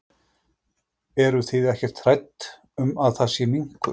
Eru þið ekkert hrædd um að það sé minkur?